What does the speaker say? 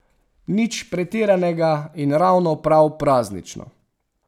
Nič pretiranega in ravno prav praznično.